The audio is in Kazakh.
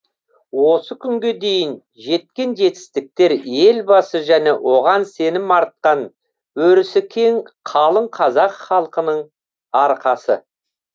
осы күнге дейін жеткен жетістіктер елбасы және оған сенім артқан өрісі кең қалың қазақ халқының арқасы